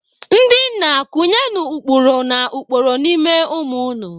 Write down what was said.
Ndị nna, kụnyenụ ụkpụrụ na ụkpụrụ n'ime ụmụ unu.